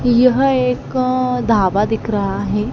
यह एक ढाबा दिख रहा है।